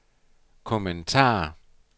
kommentar